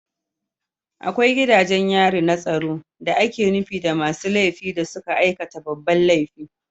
Akwai gidajen yari na tsaro da ake nufi da masu laifi da suka aikata babban laifi